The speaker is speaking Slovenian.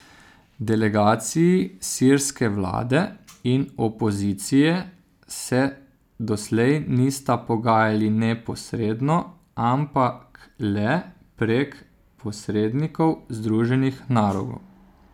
Delegaciji sirske vlade in opozicije se doslej nista pogajali neposredno, ampak le prek posrednikov Združenih narodov.